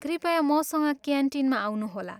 कृपया मसँग क्यान्टिनमा आउनुहोला।